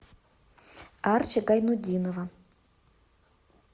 арчи гайнутдинова